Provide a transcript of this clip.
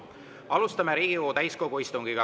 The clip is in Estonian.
Alustame Riigikogu täiskogu istungit.